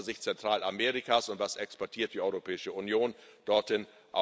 aus der Sicht Zentralamerikas und Was exportiert die Europäische Union dorthin?